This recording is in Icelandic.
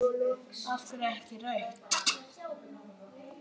Af hverju ekki rautt?